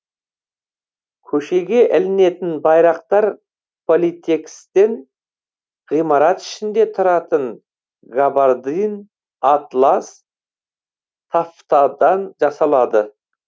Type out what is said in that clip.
көшеге ілінетін байрақтар политэкстен ғимарат ішінде тұратын габардин атлас тафтадан жасалады